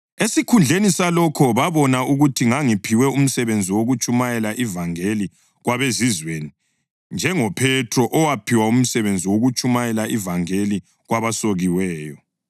Esikhundleni salokho babona ukuthi ngangiphiwe umsebenzi wokutshumayela ivangeli kwabeZizweni njengoPhethro owaphiwa umsebenzi wokutshumayela ivangeli kwabasokiweyo.